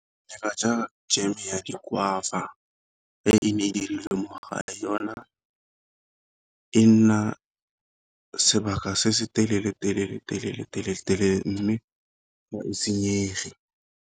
Ka ja jeme ya di-guava e ne e dirilwe mogae, yona e nna sebaka se se telele telele telele telele telele mme ga e senyege.